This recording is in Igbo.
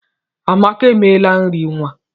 Amaka emela nri nwa.